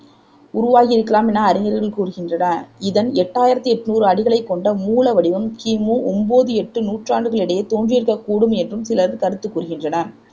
உருவாகியிருக்கலாம் என அறிஞர்கள் கூறுகின்றனர் இதன் எட்டாயிரத்தி என்னூறு அடிகளைக் கொண்ட மூல வடிவம் கிமு ஒம்போது எட்டு நூற்றாண்டுகளிடையே தோன்றியிருக்கக் கூடும் என்றும் சிலர் கருத்து கூறுகின்றனர்